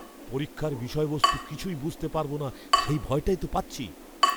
পরীক্ষার বিষয়বস্তু কিছুই বুঝতে পারব না সেই ভয়টাই তো পাচ্ছি।